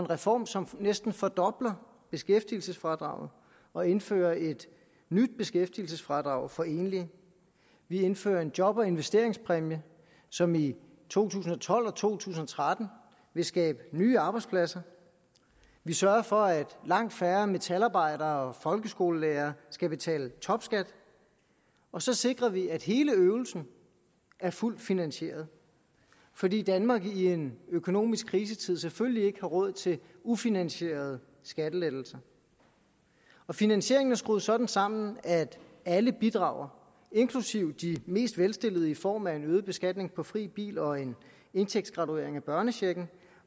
reform som næsten fordobler beskæftigelsesfradraget og indfører et nyt beskæftigelsesfradrag for enlige vi indfører en job og investeringspræmie som i to tusind og tolv og to tusind og tretten vil skabe nye arbejdspladser vi sørger for at langt færre metalarbejdere og folkeskolelærere skal betale topskat og så sikrer vi at hele øvelsen er fuldt finansieret fordi danmark i en økonomisk krisetid selvfølgelig ikke har råd til ufinansierede skattelettelser finansieringen er skruet sådan sammen at alle bidrager inklusiv de mest velstillede i form af en øget beskatning på fri bil og en indtægtsgraduering af børnechecken